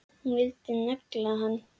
Hún vildi negla hann!